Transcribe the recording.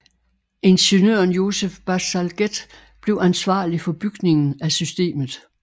Ingeniøren Joseph Bazalgette blev ansvarlig for bygningen af systemet